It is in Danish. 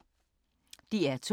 DR2